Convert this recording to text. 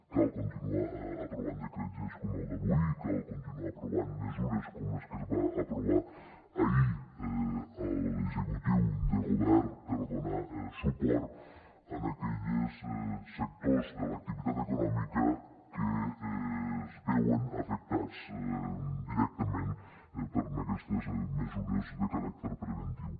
cal continuar aprovant decrets lleis com el d’avui cal continuar aprovant mesures com les que va aprovar ahir l’executiu de govern per donar suport en aquells sectors de l’activitat econòmica que es veuen afectats directament per aquestes mesures de caràcter preventiu